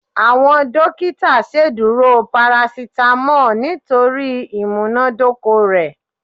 Awọn dokita ṣeduro paracetamol nitori imunadoko rẹ